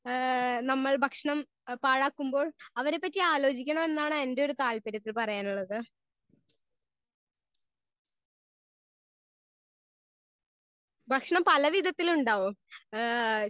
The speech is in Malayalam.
സ്പീക്കർ 1 ഹേ നമ്മൾ ഭക്ഷണം പയാക്കുമ്പോൾ അവരെ പറ്റി ആലോചിക്കണം എന്നാണ് എന്റെ ഒര് താല്പര്യത്തിൽ പറയാനുള്ളത്. ഭക്ഷണം പല വിതത്തിൽ ഉണ്ടാവും ഹേ